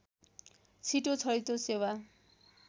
छिटो छरितो सेवा